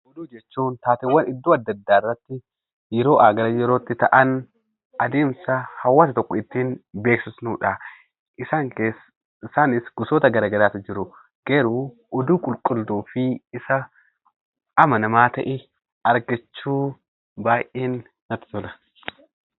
Oduu jechuun taateewwan yeroowwan adda addaa bakkeewwan adda addaarratti yeroodhaaf gara yerootti ta'an karaa ittiin hawaasa tokko beeksifnudha. Isaanis gosoota garaagaraatu jiru. Garuu oduu qulqulluu fi Isa amanamaa ta'e argachuun baay'ee natti tola.